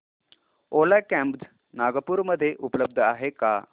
ओला cabs Nagpur मध्ये उपलब्ध आहे का